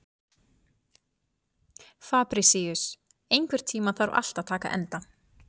Fabrisíus, einhvern tímann þarf allt að taka enda.